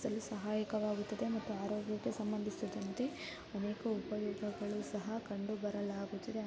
ಸಹಾಯಕವಾಗುತ್ತದೆ ಮತ್ತೆ ಆರೋಗ್ಯಕ್ಕೆ ಸಂಬಂಧಿಸಿದಂತೆ ಅನೇಕ ಉಪಯೋಗಗಳು ಸಹ ಕಂಡು ಬರಲಾಗುತ್ತಿದೆ .